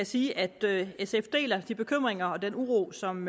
sige at sf deler de bekymringer og den uro som